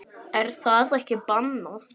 Er það ekki bannað?